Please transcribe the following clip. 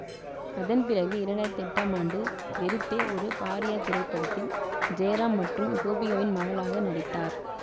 அதன் பிறகு இரண்டு ஆயிரத்தி எட்டாம் ஆண்டு வெறுத்தே ஒரு பார்யா திரைப்படத்தில் ஜெயராம் மற்றும் கோபிகாவின் மகளாக நடித்தார்